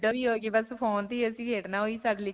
ਵੀ ਹੋ ਗਈ. ਬਸ phone ਤੇ ਹੀ ਅਸੀਂ ਖੇਡਣਾ ਓਹ ਹੀ ਸਾਡੇ ਲਈ.